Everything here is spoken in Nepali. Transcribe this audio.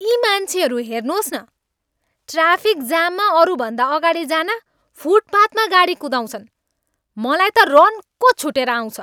यी मान्छेहरूलाई हेर्नुहोस् न, ट्राफिक जाममा अरूभन्दा अगाडि जान फुटपाथमा गाडी कुदाउँछन्। मलाई त रन्को छुटेर आउँछ।